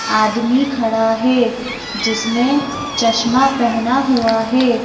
आदमी खड़ा है जिसने चश्मा पहना हुआ है।